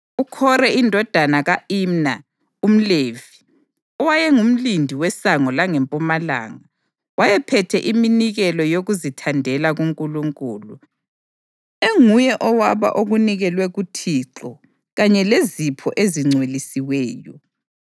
UKhore indodana ka-Imna umLevi, owayengumlindi weSango langeMpumalanga, wayephethe iminikelo yokuzithandela kuNkulunkulu, enguye owaba okunikelwe kuThixo kanye lezipho ezingcwelisiweyo.